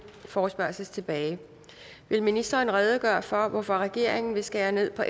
forespørgsel tilbage vil ministeren redegøre for hvorfor regeringen vil skære ned på